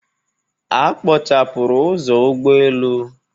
A kpochapụrụ ụzọ ụgbọelu.